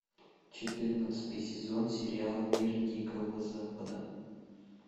четырнадцатый сезон сериала мир дикого запада